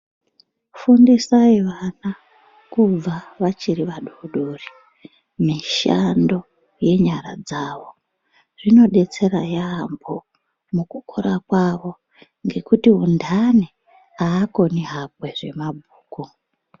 Fundisai vana kubva vachiri vadodori mishando yenyara dzawo zvinodetsera yaambo mukukura kwavo ngekuti untani aakoni hakwe zvemabhuku.